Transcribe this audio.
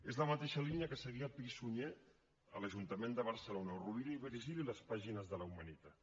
és la mateixa línia que seguia pi i sunyer a l’ajuntament de barcelona o rovira i virgili a les pàgines de la humanitat